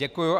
Děkuji.